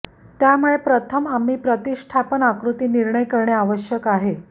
त्यामुळे प्रथम आम्ही प्रतिष्ठापन आकृती निर्णय करणे आवश्यक आहे